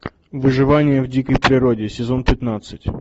выживание в дикой природе сезон пятнадцать